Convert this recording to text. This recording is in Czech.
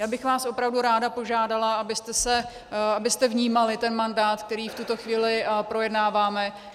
Já bych vás opravdu ráda požádala, abyste vnímali ten mandát, který v tuto chvíli projednáváme .